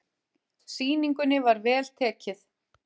Sýningunni var vel tekið.